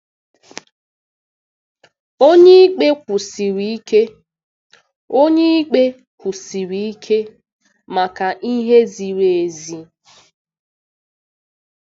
Onyeikpe Kwụsiri Ike Onyeikpe Kwụsiri Ike Maka Ihe Ziri Ezi